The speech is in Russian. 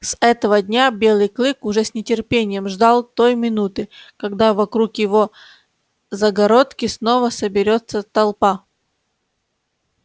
с этого дня белый клык уже с нетерпением ждал той минуты когда вокруг его загородки снова соберётся толпа